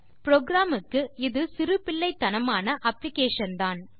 program க்கு இது சிறுபிள்ளைத்தனமான அப்ளிகேஷன் தான்